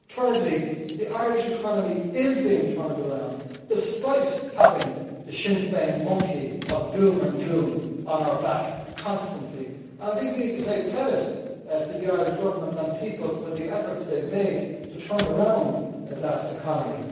Thirdly, the Irish economy is being turned around, despite having the Sinn Féin monkey of doom and gloom on our back constantly, and I think we need to pay credit to the Irish Government and people for the efforts they have made to turn around that economy.